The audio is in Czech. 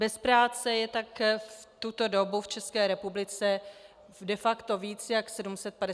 Bez práce je tak v tuto dobu v České republice de facto víc než 750 tisíc občanů.